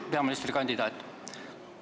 Hea peaministrikandidaat!